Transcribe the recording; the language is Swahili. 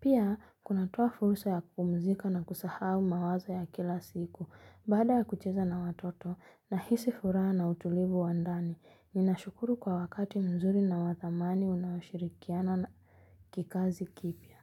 Pia, kunatoa fursa ya kupumzika na kusahau mawazo ya kila siku. Baada ya kucheza na watoto, nahisi furaha na utulivu wa ndani. Ninashukuru kwa wakati mzuri na wathamani unaoshirikiana na kikazi kipya.